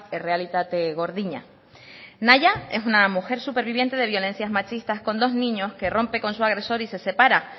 errealitate gordina nahia es una mujer superviviente de violencias machistas con dos niños que rompe con su agresor y se separa